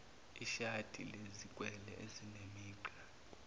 ishadi lezikwele ezinemigqa